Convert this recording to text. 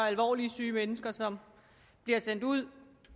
alvorligt syge mennesker som bliver sendt ud